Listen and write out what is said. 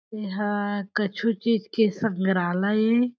एह कछु चीज़ के संग्रालय ए--